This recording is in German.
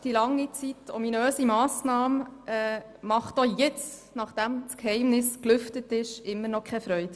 Die während langer Zeit ominöse Massnahme bereitet auch jetzt, nachdem das Geheimnis gelüftet ist, nach wie vor keine Freude.